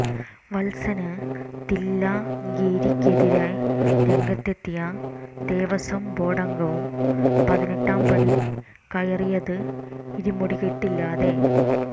വത്സന് തില്ലങ്കേരിക്കെതിരെ രംഗത്തെത്തിയ ദേവസ്വം ബോര്ഡംഗവും പതിനെട്ടാം പടി കയറിയത് ഇരുമുടിക്കെട്ടില്ലാതെ